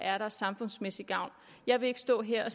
er der er samfundsmæssig gavn jeg vil ikke stå her